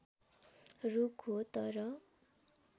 रुख हो तर